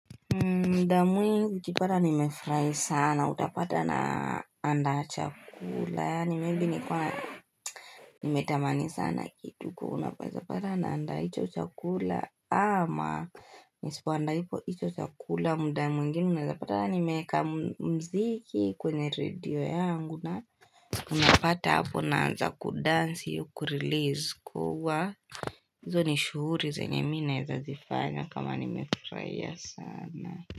Muda mwingi ukipata nimefurahi sana, utapata naandaa chakula, yaani maybe ni kana, nimetamani sana kitu unaezapata naanda hicho chakula, ama nisipoandaa hicho chakula muda mwimgine, unaezapata nimeweka mziki kwenye radio yangu, na unapata hapo naanza kudansi kurelease kuwa, hizo ni shughuli zenye mi naeza zifanya kama nimefuraia sana.